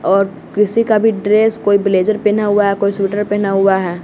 और किसी का भी ड्रेस कोई ब्लेज़र पहना हुआ है कोई स्वेटर पहना हुआ है।